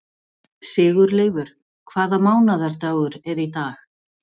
Sigurleifur, hvaða mánaðardagur er í dag?